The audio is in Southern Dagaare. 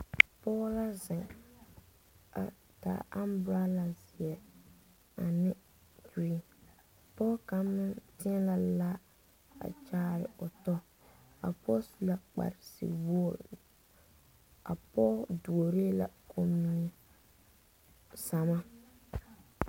Pɔge la zeŋ a taa ambarala zeɛ ane kuree pɔge kaŋ meŋ teɛnɛɛ la kyaare o tɔ a pɔge su la kpare nuwogri a pɔge duori la kommie sama.